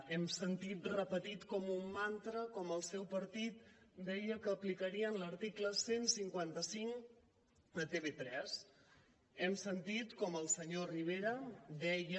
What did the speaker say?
hem sentit repetit com un mantra com el seu partit deia que aplicarien l’article cent i cinquanta cinc a tv3 hem sentit com el senyor rivera deia